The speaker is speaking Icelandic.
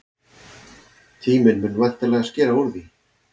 Tíminn mun væntanlega skera úr því.